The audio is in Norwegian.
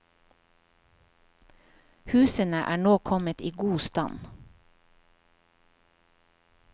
Husene er nå kommet i god stand.